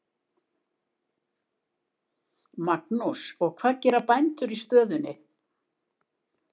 Magnús: Og hvað gera bændur í stöðunni?